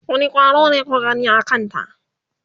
wani ƙwaro ne kuka gani a Kanta?